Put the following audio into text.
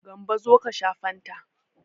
Gambo zo ka sha fanta.